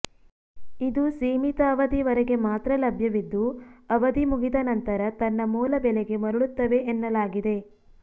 ಇದು ಸೀಮಿತ ಅವಧಿಯವರೆಗೆ ಮಾತ್ರ ಲಭ್ಯವಿದ್ದು ಅವಧಿ ಮುಗಿದ ನಂತರ ತನ್ನ ಮೂಲ ಬೆಲೆಗೆ ಮರಳುತ್ತವೆ ಎನ್ನಲಾಗಿದೆ